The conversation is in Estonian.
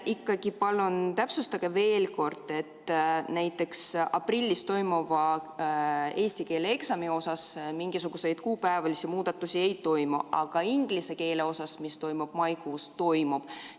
Ikkagi, palun täpsustage veel kord: aprillis toimuva eesti keele eksami suhtes mingisuguseid kuupäevalisi muudatusi ei toimu, aga inglise keele suhtes, mis toimub maikuus, toimub.